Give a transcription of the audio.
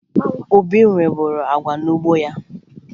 Obi nweburu agwa n'ugbo ya